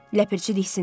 Ləpirçi diksindi.